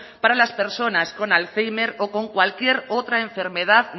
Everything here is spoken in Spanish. para las personas con alzhéimer o con cualquier otra enfermedad